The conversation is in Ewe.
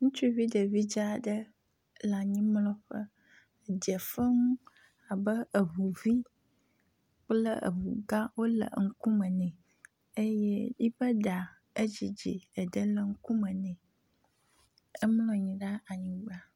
Ŋutsuvi ɖevi dzaaɖe le anyimlɔƒe dzefem abe eʋuvi kple eʋugã wóle eŋukume nɛ eye eƒe ɖa edzidzi eɖe le ŋkume nɛ emlɔanyi ɖe anyigba